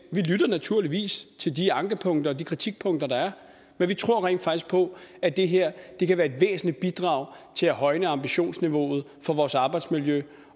lytter naturligvis til de ankepunkter og de kritikpunkter der er men vi tror rent faktisk på at det her kan være et væsentligt bidrag til at højne ambitionsniveauet for vores arbejdsmiljø